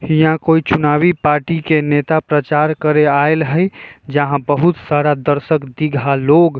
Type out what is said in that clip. हिया कोई चुनावी पार्टी के नेता प्रचार करे आइल हय जहाँ बहुत सारा दर्शक दीघहा लोग --